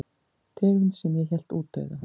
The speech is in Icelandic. Tegund sem ég hélt útdauða.